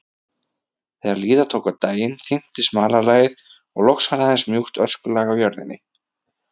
Þegar líða tók á daginn þynntist malarlagið og loks var aðeins mjúkt öskulag á jörðinni.